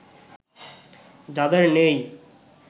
যাদের নেই